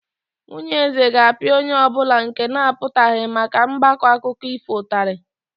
Nwunye eze ga-apịa onye ọ bụla nke na-apụtaghị maka mgbakọ akụkọ ifo ụtarị.